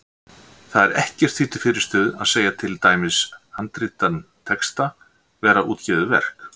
Þá er ekkert því til fyrirstöðu að segja til dæmis handritaðan texta vera útgefið verk.